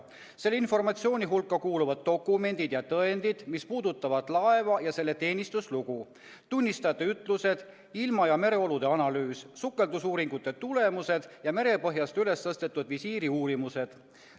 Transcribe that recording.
Selle informatsiooni hulka kuuluvad dokumendid ja tõendid, mis puudutavad laeva ja selle teenistuslugu, tunnistajate ütlused, ilma- ja mereolude analüüs, sukeldusuuringute tulemused ja merepõhjast ülestõstetud visiiri uurimused.